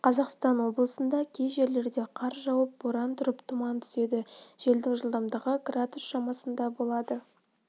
қазақстан облысында кей жерлерде қар жауып боран тұрып тұман түседі желдің жылдамдығы градус шамасында болады